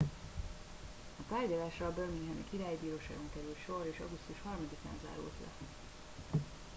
a tárgyalásra a birminghami királyi bíróságon került sor és augusztus 3 án zárult le